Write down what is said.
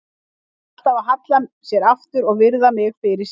Var alltaf að halla sér aftur og virða mig fyrir sér.